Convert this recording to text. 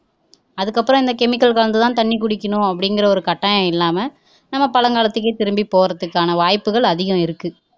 அதுக்கப்புரம் இந்த chemical கலந்துதான் தண்ணி குடிக்கனும் அப்படிங்கிற ஒரு கட்டாயம் இல்லாம நம்ம பலங்காலத்துக்கே திரும்பி போறதுக்கான வாய்ப்புகள் அதிகம் இருக்கு